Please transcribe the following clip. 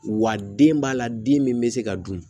Wa den b'a la den min bɛ se ka dun